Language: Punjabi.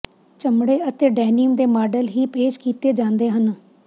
ਚਮੜੇ ਅਤੇ ਡੈਨੀਮ ਦੇ ਮਾਡਲ ਵੀ ਪੇਸ਼ ਕੀਤੇ ਜਾਂਦੇ ਹਨ